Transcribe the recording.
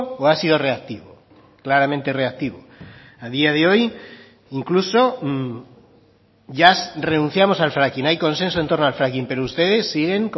o ha sido reactivo claramente reactivo a día de hoy incluso ya renunciamos al fracking hay consenso en torno al fracking pero ustedes siguen